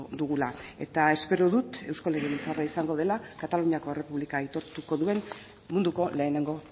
dugula eta espero dut eusko legebiltzarra izango dela kataluniako errepublika aitortuko duen munduko lehenengo